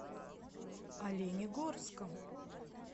оленегорском